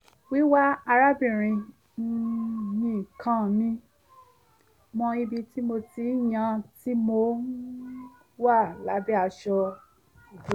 wíwá arábìnrin um mi ká mi mọ́ ibi tí mo ti ń yán tí mo um wà lábẹ́ aṣọ ìbora